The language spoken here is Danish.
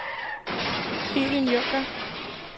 Helen Junker